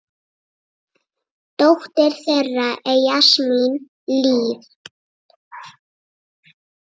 Dóttir þeirra er Jasmín Líf.